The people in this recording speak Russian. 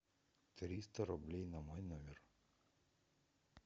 триста рублей на мой номер